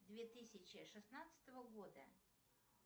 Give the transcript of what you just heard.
две тысячи шестнадцатого года